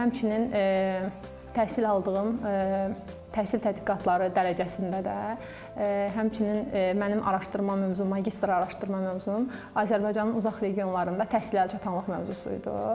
Və həmçinin təhsil aldığım təhsil tədqiqatları dərəcəsində də həmçinin mənim araşdırma mövzum, magistr araşdırma mövzum Azərbaycanın uzaq regionlarında təhsil əlçatanlıq mövzusu idi.